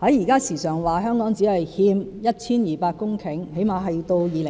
現時常說香港未來30年只欠 1,200 公頃土地，